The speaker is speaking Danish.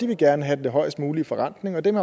vil gerne have den højest mulige forrentning og dem